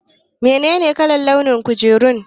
Menene launin kujerun?